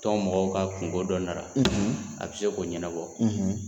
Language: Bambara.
Tɔn mɔgɔw ka kungo dɔ na na a bɛ se k'o ɲɛnabɔ